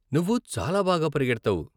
నువ్వు చాలా బాగా పరిగెడతావు .